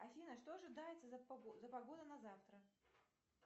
афина что ожидается за погода на завтра